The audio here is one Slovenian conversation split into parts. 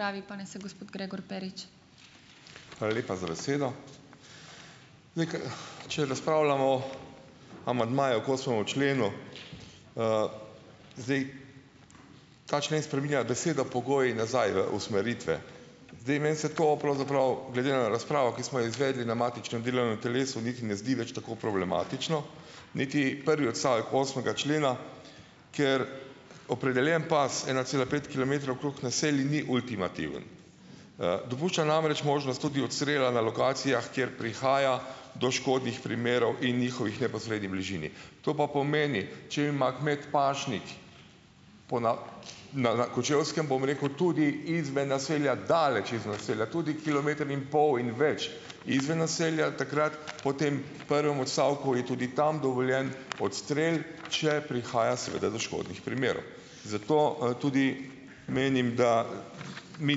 Hvala lepa za besedo . če razpravljamo amandmaju k osmemu členu zdaj ta člen spreminja beseda pogoji nazaj v usmeritve. Zdaj, meni se to pravzaprav glede na razpravo, ki smo jo izvedli na matičnem delovnem telesu, niti ne zdi več tako problematično, niti prvi odstavek osmega člena, ker opredeljen pas ena cela pet kilometrov okrog naselij ni ultimativen. dopušča namreč možnost tudi odstrela na lokacijah, kjer prihaja do škodnih primerov in njihovih neposredni bližini. To pa pomeni, če ima kmet pašnik na, na Kočevskem, bom rekel, tudi izven naselja, daleč izven naselja. Tudi kilometer in pol in več izven naselja, takrat po tem prvem odstavku je tudi tam dovoljen odstrel, če prihaja seveda do škodnih primerov . Zato tudi menim, da mi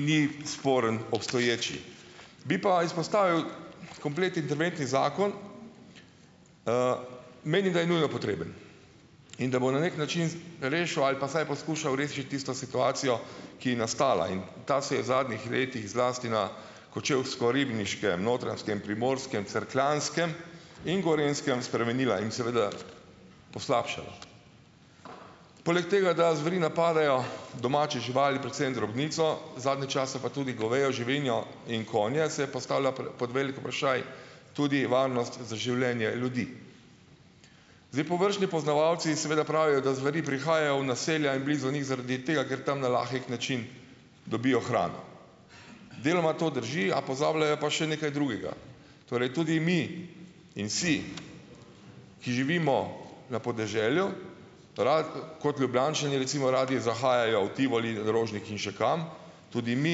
ni sporen obstoječ . Bi pa izpostavil komplet interventni zakon. menim, da je nujno potreben. In da bo na neki način rešil ali pa vsaj poskušal rešiti tisto situacijo, ki je nastala in ta se je v zadnjih letih, zlasti na Kočevsko-Ribniškem, Notranjskem, Primorskem, Cerkljanskem in Gorenjskem spremenila in seveda poslabšala. Poleg tega, da zveri napadajo domače živali, predvsem drobnico, zadnje čase pa tudi govejo živino in konje, se postavlja pod velik vprašaj tudi varnost za življenje ljudi. Zdaj, površni poznavalci seveda pravijo, da zveri prihajajo v naselja in blizu njih zaradi tega, ker tam na lahek način dobijo hrano. Deloma to drži, a pozabljajo pa še nekaj drugega. Torej, tudi mi in si, ki živimo na podeželju, kot Ljubljančani recimo radi zahajajo v Tivoli, Rožnik in še kam, tudi mi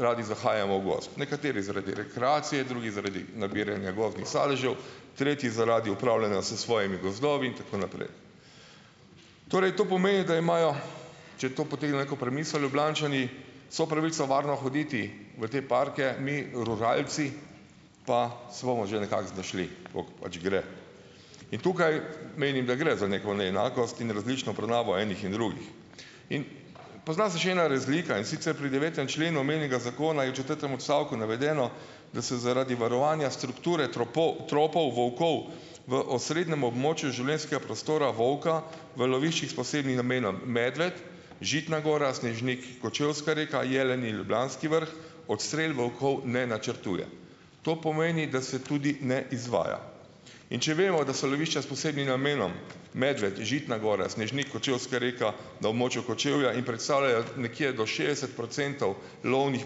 radi zahajamo v gozd. Nekateri zaradi rekreacije, drugi zaradi nabiranja gozdnih sadežev , tretji zaradi upravljanja s svojimi gozdovi in tako naprej. Torej, to pomeni, da imajo, če to potegne neko premiso, Ljubljančani vso pravico varno hoditi v te parke, mi, Rožalci, pa se bomo že nekako znašli, tako kot pač gre. In tukaj menim, da gre za neko neenakost in različno obravnavo enih in drugih. In, pozna se še ena razlika, in sicer pri devetem členu omenjenega zakona in četrtem odstavku navedeno, da se zaradi varovanja strukture tropov volkov v osrednjem območju življenjskega prostora volka v loviščih s posebnim namenom. Medved, Žitna gora, Snežnik, Kočevska Reka, Jeleni, Ljubljanski vrh odstrel volkov ne načrtuje. To pomeni, da se tudi ne izvaja. In če vemo, da so lovišča s posebnim namenom Medved, Žitna gora, Snežnik, Kočevska Reka na območju Kočevja in predstavljajo nekje do šestdeset procentov lovnih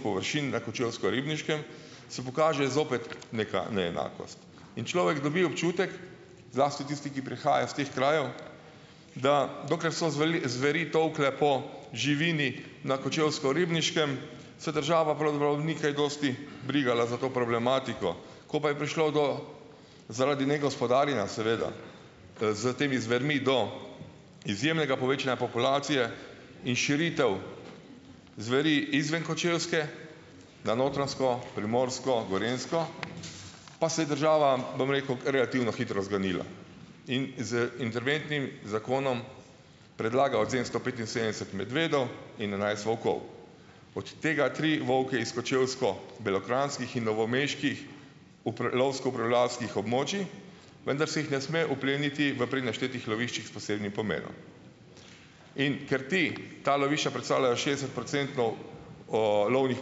površin na Kočevsko-Ribniškem, se pokaže zopet neka neenakost. In človek dobi občutek, zlasti tisti, ki prihajajo s teh krajev, da dokler so zveri tolkle po živini na Kočevsko-Ribniškem, se država pravzaprav ni kaj dosti brigala za to problematiko. Ko pa je prišlo do, zaradi negospodarjenja, seveda, s temi zvermi do izjemnega povečanja populacije in širitev zveri izven Kočevske, na Notranjsko, Primorsko, Gorenjsko , pa se je država, bom rekel, relativno hitro zganila. In z interventnim zakonom predlaga odvzem sto petinsedemdeset medvedov in enajst volkov. Od tega tri volke iz kočevsko-belokranjskih in novomeških lovsko upravljalskih območij, vendar se jih ne sme opleniti v pri naštetih loviščih s posebnim pomenom. In ker ta lovišča predstavljajo šestdeset procentov lovnih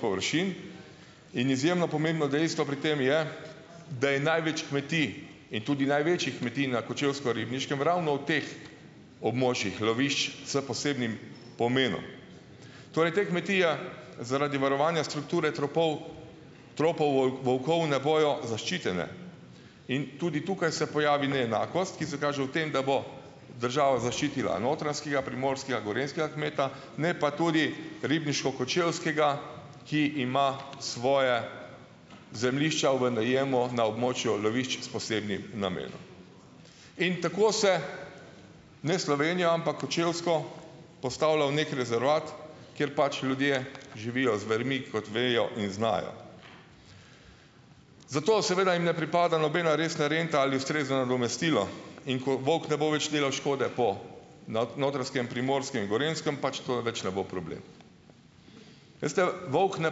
površin in izjemno pomembno dejstvo pri tem je, da je največ kmetij in tudi največjih kmetij na Kočevsko-Ribniškem ravno v teh območjih lovišč s posebnim pomenom. Torej, te kmetije zaradi varovanja strukture tropov, tropov volkov ne bojo zaščitene. In, tudi tukaj se pojavi neenakost, ki se kaže v tem, da bo država zaščitila notranjskega, primorskega, gorenjskega kmeta, ne pa tudi ribniško-kočevskega, ki ima svoje zemljišča v najemu na območju lovišč s posebnim namenom. In tako se, ne Slovenijo ampak Kočevsko, postavlja v neki rezervat, kjer pač ljudje živijo zvermi, kot vejo in znajo. Zato, seveda, jim ne pripada nobena resna renta ali ustrezno nadomestilo, in ko volk ne bo več delal škode, bo notri Notranjskem, Primorskem, Gorenjskem, pač to več ne bo problem. Veste, volk ne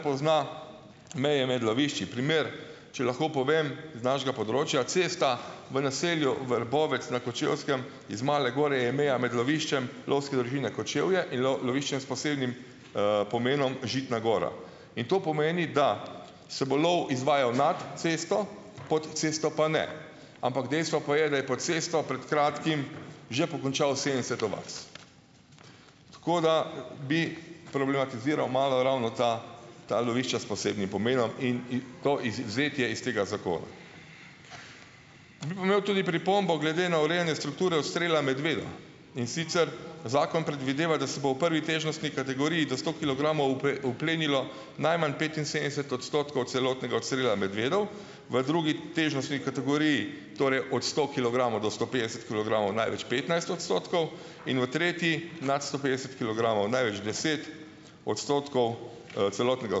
pozna meje med lovišči. Primer, če lahko povem z našega področja, cesta v naselju Vrbovec na Kočevskem iz Male gore je meja med loviščem Lovske družine Kočevje in loviščem s posebnim pomenom Žitna gora. In to pomeni, da se bo lov izvajal nad cesto, pod cesto pa ne. Ampak dejstvo pa je, da je pod cesto pred kratkim že pokončal sedemdeset ovac. Tako da bi problematiziral malo ravno ta, ta lovišča s posebnim pomenom in, in to izvzetje iz tega zakona. Bi pa imel tudi pripombo glede na urejanje strukture odstrela medvedov. In sicer, zakon predvideva, da se bo v prvi težnostni kategoriji do sto kilogramov uplenilo najmanj petinsedemdeset odstotkov celotnega odstrela medvedov. V drugi težnostni kategoriji, torej od sto kilogramov do sto petdeset kilogramov, največ petnajst odstotkov in v tretji, nad sto petdeset kilogramov, največ deset odstotkov celotnega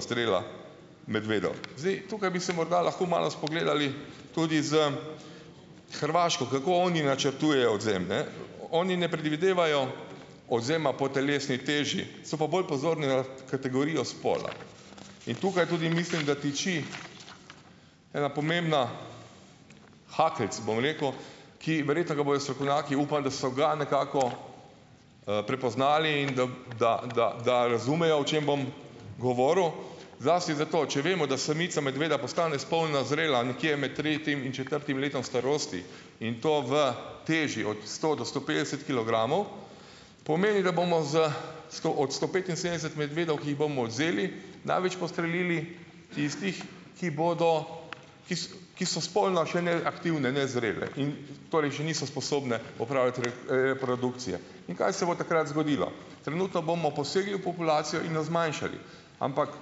odstrela medvedov. Zdaj, tukaj bi se morda lahko malo spogledali tudi s Hrvaško, kako oni načrtujejo odvzem, ne. Oni ne predvidevajo odvzema po telesni teži, so pa bolj pozorni na kategorijo spola. In tukaj tudi mislim, da tiči ena pomembna, hakeljc, bom rekel, ki verjetno ga bojo strokovnjaki, upam, da so ga nekako prepoznali in da, da, da, da razumejo, o čem bom govoril, zlasti za to, če vemo, da samica medveda postane spolno zrela nekje med tretjim in četrtim letom starosti, in to v teži od sto do sto petdeset kilogramov, pomeni, da bomo z sto, od sto petinsedemdeset medvedov, ki jih bomo odvzeli največ postrelili tistih , ki bodo ki so spolno še neaktivne, nezrele. In torej še niso sposobne opraviti reprodukcije. In, kaj se bo takrat zgodilo? Trenutno bomo posegli v populacijo in jo zmanjšali. Ampak,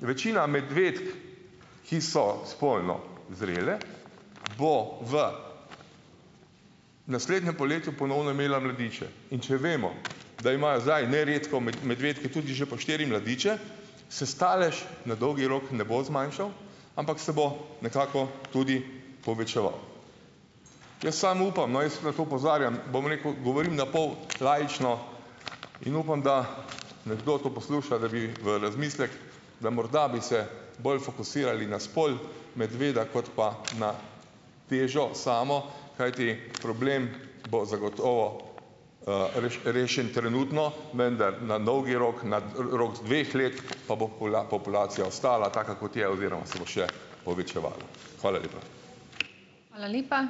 večina medvedk, ki so spolno zrele, bo v naslednjem poletju ponovno imela mladiče. In če vemo, da imajo zdaj neredko medvedki tudi že po štiri mladiče, se stalež na dolgi rok ne bo zmanjšal, ampak se bo nekako tudi povečeval. Jaz samo upam, no, jaz na to opozarjam, bom rekel, govorim na pol laično in upam, da nekdo to posluša, da bi v razmislek, da morda bi se bolj fokusirali na spol medveda kot pa na težo samo, kajti problem bo zagotovo , rešen trenutno, vendar na dolgi rok, na rok dveh let pa bo populacija ostala taka, kot je oziroma se bo še povečevala. Hvala lepa.